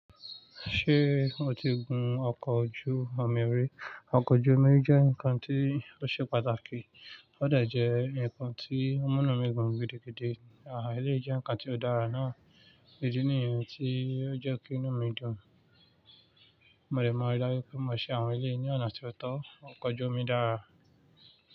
Ṣé o ti gun ọkọ̀ ojú omi rí? Ọkọ̀ ojú omi jẹ́ nǹkan tó ṣe pàtàkì, ó de jẹ nǹkan tí ọmu inu mi dun gidigidi. Eleyi jẹ nǹkan tí ó dára náà, ìdí nìyẹn tí ó jẹ́ kí inú mi dùn. Mo dẹ̀ mọa rí daju pé mo ṣe àwọn eleyii ní ọ̀nà tó tọ́, ọkọ̀ ojú omi dára.